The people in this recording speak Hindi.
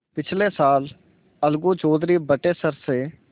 पिछले साल अलगू चौधरी बटेसर से